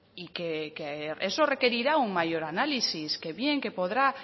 y que eso requerirá un mayor análisis que bien